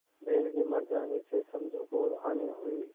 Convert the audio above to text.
बैल के मर जाने से समझू को हानि हुई